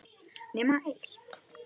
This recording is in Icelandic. Nema eitt.